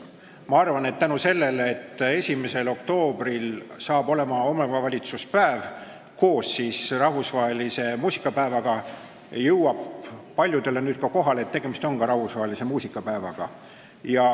Ma arvan, et tänu sellele, et 1. oktoobril on omavalitsuspäev, koos rahvusvahelise muusikapäevaga, jõuab nüüd paljudele kohale, et tegemist on ka muusikapäevaga.